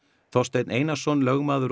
Þorsteinn Einarsson lögmaður og